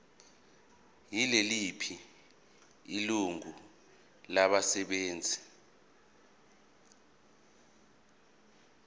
yiliphi ilungu labasebenzi